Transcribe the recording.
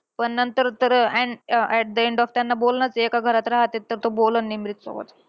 पण नंतर तर and um at end of त्यांना बोलणंचं आहे. एका घरात राहतात तर तो बोलणं निमरीत सोबत.